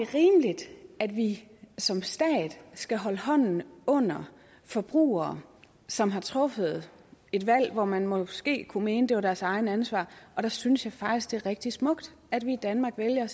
rimeligt at vi som stat skal holde hånden under forbrugere som har truffet et valg hvor man måske kunne mene at det var deres eget ansvar og der synes jeg faktisk det er rigtig smukt at vi i danmark vælger